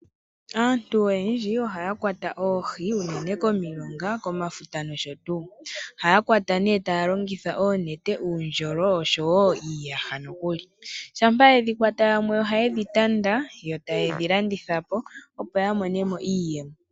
Aantu oyendji ohaya kwata oohi unene komilonga, komafuta nosho tuu. Ohaya kwata nee taya longitha oonete, uundjolo oshowo iiyaha nokuli. Shampa yedhi kwata, yamwe oha yedhi tanda yo ta yedhi landithapo opo ya monemo iiyemo.